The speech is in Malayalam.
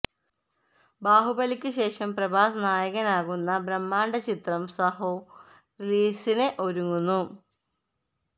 ബാഹുബലിക്ക് ശേഷം പ്രഭാസ് നായകൻ ആകുന്ന ബ്രഹ്മാണ്ഡ ചിത്രം സാഹോ റിലീസിന് ഒരുങ്ങുന്നു